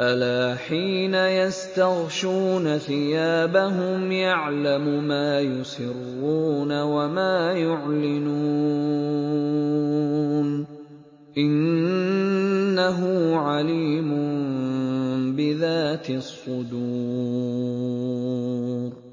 أَلَا حِينَ يَسْتَغْشُونَ ثِيَابَهُمْ يَعْلَمُ مَا يُسِرُّونَ وَمَا يُعْلِنُونَ ۚ إِنَّهُ عَلِيمٌ بِذَاتِ الصُّدُورِ